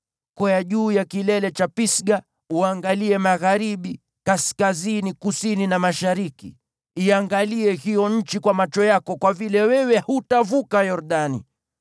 Kwea juu ya kilele cha Pisga uangalie magharibi, kaskazini, kusini na mashariki. Iangalie hiyo nchi kwa macho yako, kwa vile wewe hutavuka Yordani.